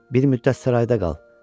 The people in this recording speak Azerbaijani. Bir müddət sarayda qal.